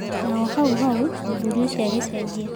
Na o hau hau mũthuri ũcio agĩcenjia.